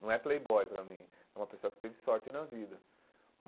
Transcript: Não é playboy para mim, é uma pessoa que teve sorte na vida.